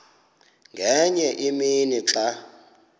ngenye imini xa